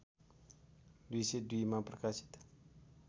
२०२ मा प्रकाशित